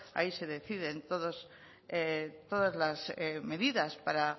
ahí se deciden todas las medidas para